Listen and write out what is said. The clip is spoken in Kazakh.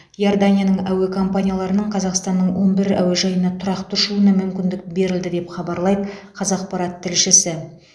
иорданияның әуе компанияларының қазақстанның он бір әуежайына тұрақты ұшуына мүмкіндік берілді деп хабарлайды қазақпарат тілшісі